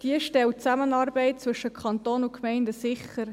Dieses stellt die Zusammenarbeit zwischen Kanton und Gemeinden sicher.